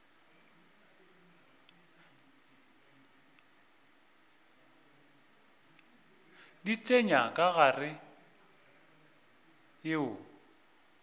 di tsenya ka gare yeo